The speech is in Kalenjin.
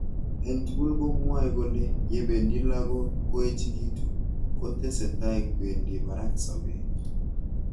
Eng tugul komwaei kole yebendi lakok koechekitu kotesetai kwendi barak sabet.